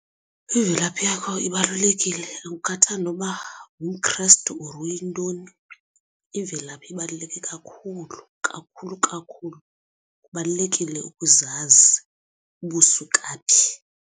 Imvelaphi yakho ibalulekile akukhathali noba ungumKhrestu or uyintoni. Imvelaphi ibaluleke kakhulu kakhulu kakhulu kubalulekile ukuzazi uba usuka phi.